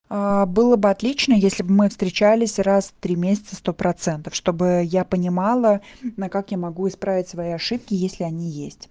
аа было бы отлично если бы мы встречались раз в три месяца сто процентов чтобы я понимала а акак я могу исправить свои ошибки если они есть